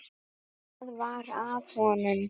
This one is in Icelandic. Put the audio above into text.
Hvað var að honum?